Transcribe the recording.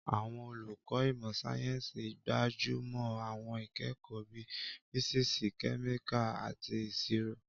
Àwọn olùkọ́ ìmọ̀ sáyẹ́sì gbájú mọ́ àwọn ìkẹ́kọ̀ọ́ bíi físíìsì, kẹ́míkà, àti ìṣirò.